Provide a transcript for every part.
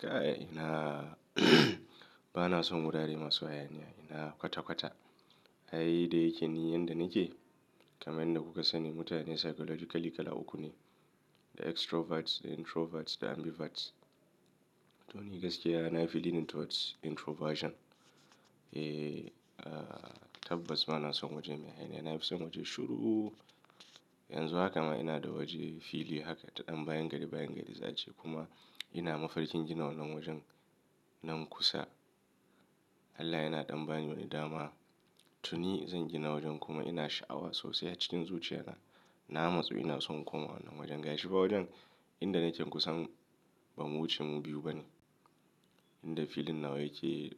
Ka'a ina ba na son wurare masu hayaniya, ina kwata-kwata. Ai dai yake niyyar da nike kamar yadda kuka sani mutane psychologically kala uku ne, da extroverts, da introverts da ambiverts. To ni gaskiya ina feeling towards introversion. Eh, tabbas ba na son waje mai hayaniya, na fi son waje shuru. Yanzu haka ma ina da waje fili haka ta ɗan bayan gari bayan gari za ci kuma ina mafarkin gina wannan wajen nan kusa. Allah yana ɗan bani wani dama. To ni zan gina wajen kuma ina sha'awa sosai a cikin zuciya na. Na matsu ina son komawa wannan wajen. Ga shi fa wajen inda nike kusan bamu wuce mu biyu bane. Inda feeling nawa yake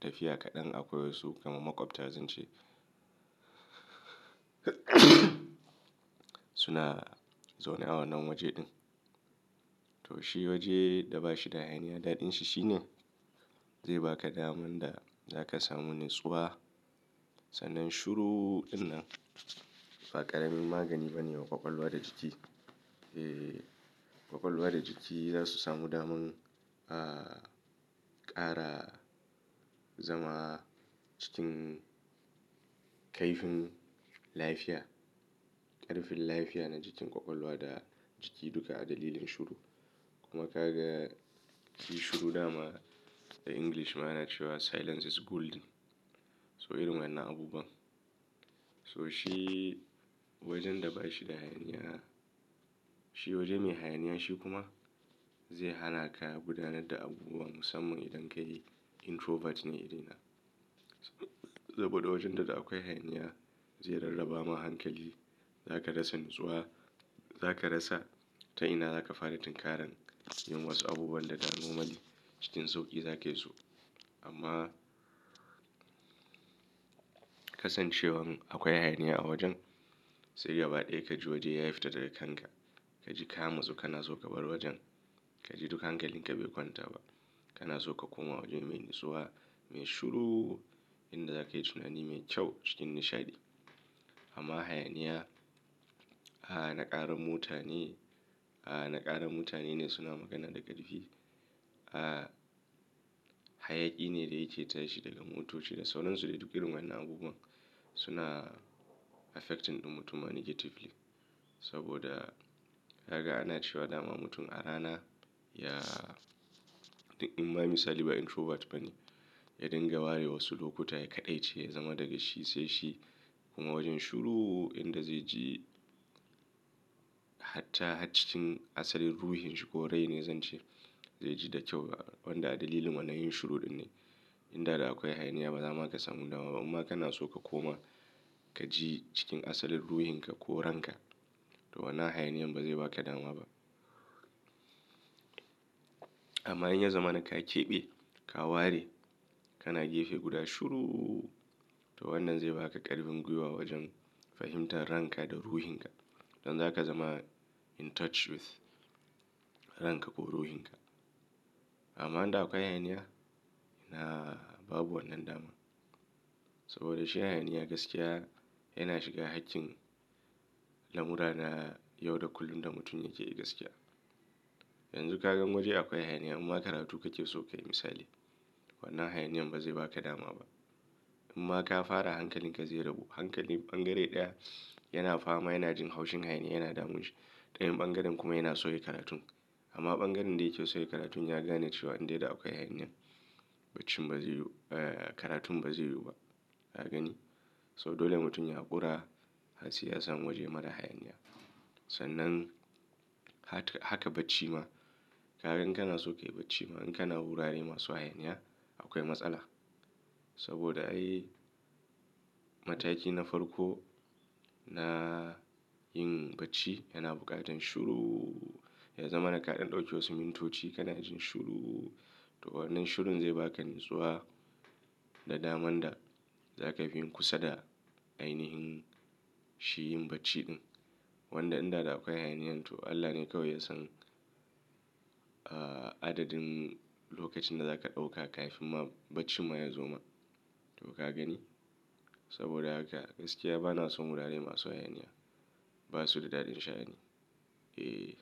tafiya kaɗan akwai wasu kamar maƙwabta zan ce suna zaune a wannan waje ɗin. To shi waje da ba shi da hayaniya, daɗin shi shine zai ba ka daman da za ka samu natsuwa. Sannan shuru ɗin nan ba ƙaramin magani ba ne wa ƙwaƙwalwa da jiki. Eh, ƙwaƙwalwa da jiki za su samu daman, ah, ƙara zama cikin kaifin lafiya. Ƙarfin lafiya na jikin ƙwaƙwalwa da jiki duka a dalilin shuru. Kuma ka ga shi shuru dama da English ma yana cewa "silence is golden." So irin wannan abubuwan. So shi wajen da ba shi da hayaniya, shi waje mai hayaniya shi kuma zai hana ka gudanar da abubuwan sama idan ka yi introvert ne irina. Saboda wajen da da akwai hayaniya zai rarraba ma hankali. Za ka rasa natsuwa. Za ka rasa ta ina za ka fara tinkaran yin wasu abubuwan da damo maɗi cikin sauƙi za ka yi su. Amma kasancewan akwai hayaniya a wajen sai gaba ɗaya ka ji wajen ya yi fita daga kanka. Ka ji kama sosai kana so ka bar wajen. Ka ji duk hankalin ka bai kwanta ba. Kana so ka koma waje mai natsuwa, mai shuru inda za ka yi tunani mai kyau cikin nishaɗi. Amma hayaniya, a na ƙara mutane, a na ƙara mutane ne suna magana da ƙarfi. Ah, hayaki ne dai yake tashi daga mutuci da sauran su da duk irin wannan abubuwan suna affecting mutum negatively. Saboda ka ga ana cewa dama mutum a rana ya-- ɗan Imam Salihu introvert bane. Ya dinga ware wasu lokuta ya kaɗaice ya zama daga shi sai shi. Kuma wajen shuru inda zai ji hatta hat cikin asalin ruhin shi ko rai ne zan ce zai ji da kyau. Wanda dalilin wannan yin shuru ɗin ne. Inda da akwai hayaniya ba za ma ka samu dama ba. Amma kana so ka koma ka ji cikin asalin ruhin ka ko ranka to wannan hayaniyan ba zai ba ka dama ba. Amma in ya zama na ka keɓe, ka ware kana gefe guda shuru to wannan zai ba ka ƙarfin gwiwa wajen fahimtar ranka da ruhin ka. Don za ka zama in touch with ranka ko ruhin ka. Amma in da akwai hayaniya ina babu wannan dama. Saboda shi hayaniya gaskiya yana shiga haƙin lamura na yau da kullun da mutum yake yi gaskiya. Yanzu ka gan waje akwai hayaniya amma karatu kake so ka yi misali. Wannan hayaniyan ba zai ba ka dama ba. Amma ka fara hankalin ka zai rabu. Hankali ɓangare ɗaya yana fama yana jin haushin hayaniya yana damun shi. Ɗayan ɓangaren kuma yana so ya yi karatun. Amma ɓangaren da yake so ya yi karatun ya gane cewa in dai da akwai hayaniyan bacci ba zai yi-- eh, karatun ba zai yiwu ba. Ka gani? So dole mutum ya haƙura harsiyasan waje marar hayaniya. Sannan haka bacci ma. Ka gan in kana so ka yi bacci ma in kana wurare masu hayaniya akwai matsala. Saboda ai mataki na farko na yin bacci yana buƙatar shuru. Ya zama na kaɗan ɗauke wasu mintoci kana jin shuru. To wannan shurun zai ba ka natsuwa da daman da za ka fi yin kusa da ainihin shi yin bacci ɗin. Wanda in da da akwai hayaniya to Allah ne kawai yasan, ah, adadin lokacin da za ka ɗauka kafin ma bacci ma ya zo ma. To ka gani? Saboda haka gaskiya ba na son wurare masu hayaniya. Ba su da daɗin sha'ani. Eh.